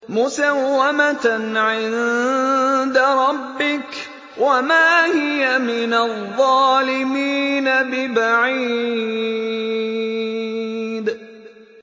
مُّسَوَّمَةً عِندَ رَبِّكَ ۖ وَمَا هِيَ مِنَ الظَّالِمِينَ بِبَعِيدٍ